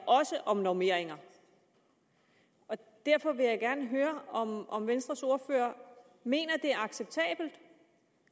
også om normeringer og derfor vil jeg gerne høre om venstres ordfører mener at det er acceptabelt